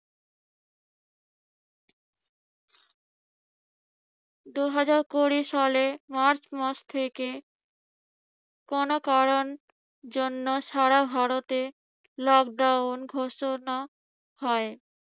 দুহাজার কুড়ি সালে মার্চ মাস থেকে কোন কারণ জন্য সারা ভারতে lockdown